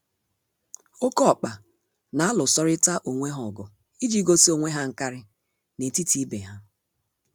Oké ọkpa n'alụsorịta onwe ha ọgụ iji gosi onwe ha nkarị n'etiti ibe ha.